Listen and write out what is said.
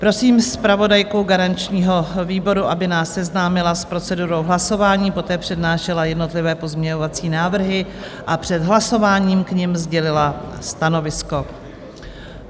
Prosím zpravodajku garančního výboru, aby nás seznámila s procedurou hlasování, poté přednášela jednotlivé pozměňovací návrhy a před hlasováním k nim sdělila stanovisko.